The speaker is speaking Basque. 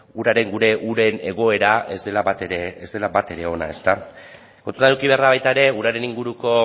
gure uren egoera ez dela batere ona ezta kontutan eduki behar da baita ere uraren inguruko